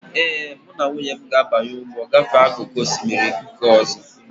Ee, mụ na nwunye m ga-abanye ụgbọ gafee n'akụkụ osimiri nke ọzọ.